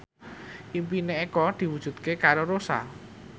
impine Eko diwujudke karo Rossa